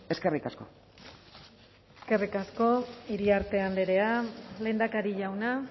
eskerrik asko eskerrik asko iriarte andrea lehendakari jauna